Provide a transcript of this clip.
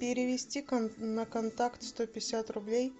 перевести на контакт сто пятьдесят рублей